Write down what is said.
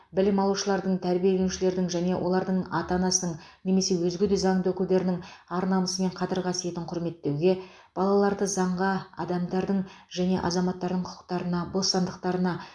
білім алушылардың тәрбиеленушілердің және олардың ата анасының немесе өзге де заңды өкілдерінің ар намысы мен қадір қасиетін құрметтеуге балаларды заңға адамдардың және азаматарың құқықтарына бостандықтарына